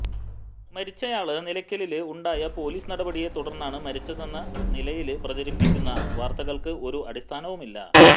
മരിച്ചയാള് നിലയ്ക്കലില് ഉണ്ടായ പൊലീസ് നടപടിയെ തുടര്ന്നാണ് മരിച്ചതെന്ന നിലയില് പ്രചരിപ്പിക്കുന്ന വാര്ത്തകള്ക്ക് ഒരു അടിസ്ഥാനവുമില്ല